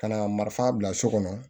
Ka na marifan bila so kɔnɔ